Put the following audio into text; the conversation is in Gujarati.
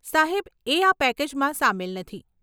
સાહેબ, એ આ પેકેજમાં સામેલ નથી.